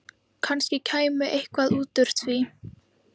Kannski kæmi eitthvað út úr því.